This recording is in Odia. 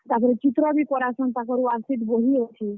ତାପରେ ଚିତ୍ର ବି କରାସନ୍ ତାକର୍ worksheet ବହି ଅଛେ।